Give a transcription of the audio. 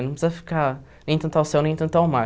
Não precisa ficar nem tanto ao céu, nem tanto ao mar.